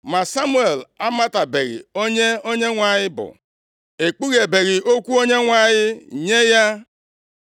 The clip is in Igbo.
Ma Samuel amatabeghị onye Onyenwe anyị bụ, ekpughebeghị okwu Onyenwe anyị nye ya.